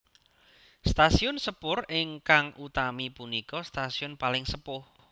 Stasiun sepur ingkang utami punika stasiun paling sepuh